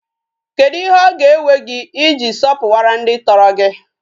Kedu ihe o ga-ewe gi I ji sopuwara ndi toro gi?